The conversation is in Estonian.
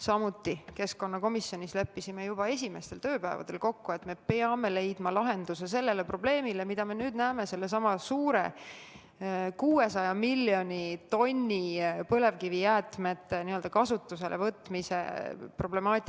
Me leppisime keskkonnakomisjonis juba esimestel tööpäevadel kokku, et me peame leidma lahenduse sellele probleemile, mida me nüüd näeme soses sellesama 600 miljoni tonni põlevkivijäätmete kasutusele võtmise katsega.